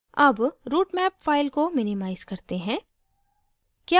अब routemap file को minimize करते हैं